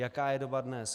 Jaká je doba dnes?